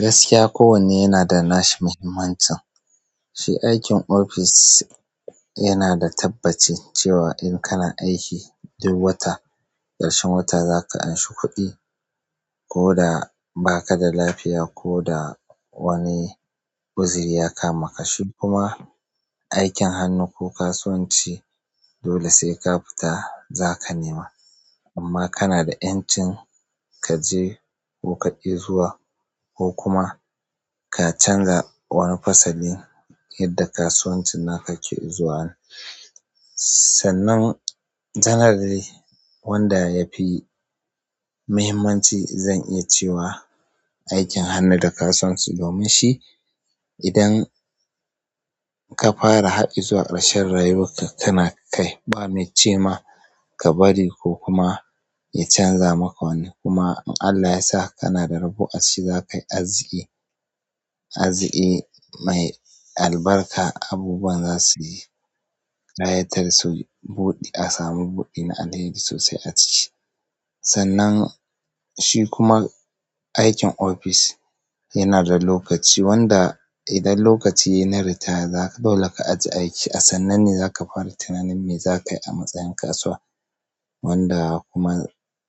Gaskiya kowane yanada nashi muhimmancin. Shi aikin ofis yanada tabbaci cewa in kana aiki duk wata, ƙarshen wata za ka anshi kuɗi koda bakada lafiya koda wani kuziri ya kama ka. Kuma aikin hannu ko kasuwanci dole sai ka fita zaka nema amma kana da ƴancin kaje ko kaƙi zuwa ko kuma ka canza wani fasalin yadda kasuwancin naka ke zuwa. Sannan janare wanda yafi muhimmanci zan iya cewa aikin hannu da kasuwanci domin shi idan ka fara har izuwa ƙarshen rayuwarka kana kai ba mai cema ka bari ko kuma ya canza maka wani. Kuma in Allah yasa kanada rabo a cikin zakayi arziki, arziki mai albarka. Abubuwa zasu yi, ƙayatar su buɗe a samu buɗi na alheri sosai a ciki. Sannan shi kuma aikin ofis yana da lokaci wanda idan lokaci yayi na ritaya kawai zaka ajiye aiki. A sannan ne zaka fara tunanin me zakayi a matsayin kasuwa wanda kuma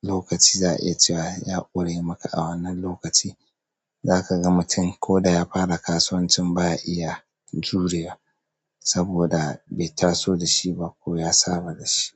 lokaci za'a iya cewa ya ƙure maka. A wannan lokaci zakaga mutum ko da ya fara kasuwancin baya iya juriwa saboda bai taso da shi ba ko ya saba da shi.